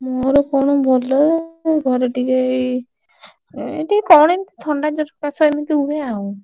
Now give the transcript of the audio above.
ମୋର କଣ ଭଲ? ଘରେ ଟିକେ ଏଇ ଏ ଟିକେ କଣ ଏମିତି ଥଣ୍ଡାଜ୍ୱର